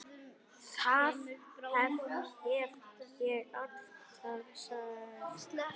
Það hef ég alltaf sagt.